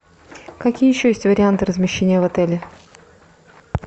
какие еще есть варианты размещения в отеле